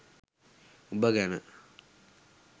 උඹ ගැන